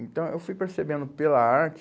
Então eu fui percebendo, pela arte,